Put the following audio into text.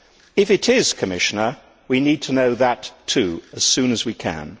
If it is, Commissioner, we need to know that, too, as soon as we can.